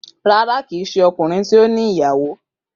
Rara kii ṣe ọkunrin ti o ni iyawo.